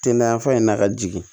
Te na yanfan in na ka jigin